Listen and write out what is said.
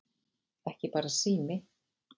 Ekki bara sími